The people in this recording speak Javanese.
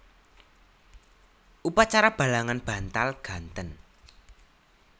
Upacara balangan bantal ganten